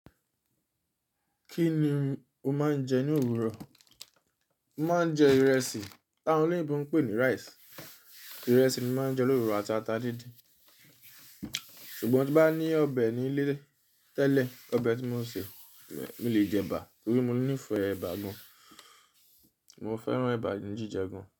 Kí ni o máa ń jẹ ní òwúrọ̀? Mo máa ń jẹ ìrẹsì, tá won oloyinbo ń pè ní rice. Ìrẹsì ni mo máa ń jẹ lówuro àti àtà díndín. Ṣùgbọ́n tí bá ní ọbẹ̀ nílé tẹ́lẹ̀, ọbẹ̀ tí mọ́ ṣe, mo lè jẹ ẹ̀bà torí mo nífẹ̀ẹ́ ẹ̀bà gan. Mo fẹ́ràn ẹ̀bà ní jíjẹ gan.